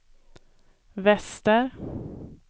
väster